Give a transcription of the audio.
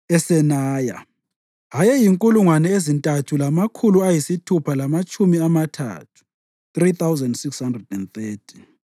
eSenaya ayezinkulungwane ezintathu lamakhulu ayisithupha lamatshumi amathathu (3,630).